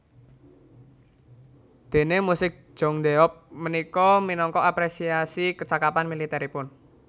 Déné musik Jeongdae eop punika minangka apresiasi kecakapan militeripun